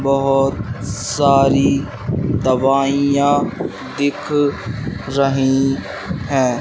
बहुत सारी दवाइयां दिख रही है।